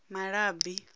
malabi